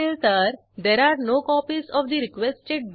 आता अशा युजरद्वारे पुस्तक परत करणार आहोत जे त्याने घेतलेच नव्हते